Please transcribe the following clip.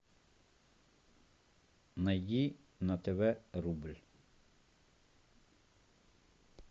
найди на тв рубль